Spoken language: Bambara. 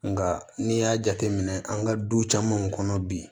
Nga n'i y'a jateminɛ an ka du camanw kɔnɔ bi